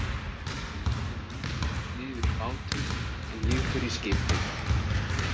Kom þú hingað niður í bátinn en ég fer í skipið.